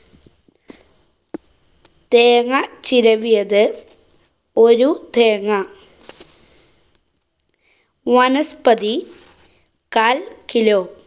തേങ്ങ ചിരവിയത്, ഒരു തേങ്ങ വനസ്പതി കാല്‍ kilo.